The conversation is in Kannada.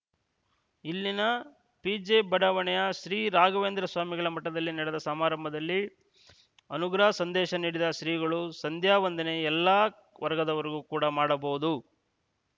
ಇಲ್ಲಿನ ಪಿಜೆಬಡಾವಣೆಯ ಶ್ರೀ ರಾಘವೇಂದ್ರ ಸ್ವಾಮಿಗಳ ಮಠದಲ್ಲಿ ನಡೆದ ಸಮಾರಂಭದಲ್ಲಿ ಅನುಗ್ರಹ ಸಂದೇಶ ನೀಡಿದ ಶ್ರೀಗಳು ಸಂಧ್ಯಾವಂದನೆ ಎಲ್ಲಾ ವರ್ಗದವರೂ ಕೂಡ ಮಾಡಬಹುದು